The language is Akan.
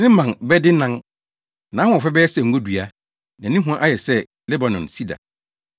ne mman bɛdennan. Nʼahoɔfɛ bɛyɛ sɛ ngodua, na ne hua ayɛ sɛ Lebanon sida.